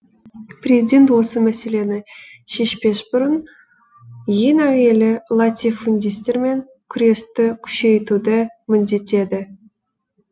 президент осы мәселені шешпес бұрын ең әуелі латифундистермен күресті күшейтуді міндеттеді